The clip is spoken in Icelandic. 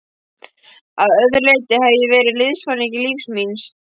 Að öðru leyti hef ég verið liðsforingi lífs míns.